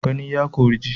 Gani ya kori ji